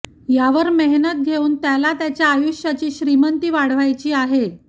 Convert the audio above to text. यावर मेहनत घेऊन त्याला त्याच्या आयुष्याची श्रीमंती वाढवायची आहे